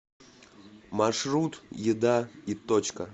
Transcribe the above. маршрут еда и точка